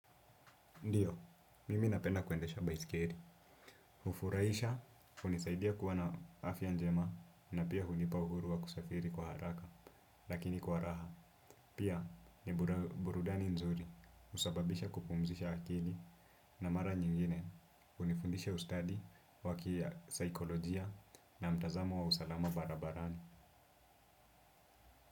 Ndiyo, mimi napenda kuendesha baiskeli. Hufurahisha, hunisaidia kuwa na afya njema na pia hunipa uhuru wa kusafiri kwa haraka. Lakini kwa raha, pia ni burudani nzuri husababisha kupumzisha akili na mara nyingine hunifundisha ustadi wa kisaikolojia na mtazamo wa usalama barabarani.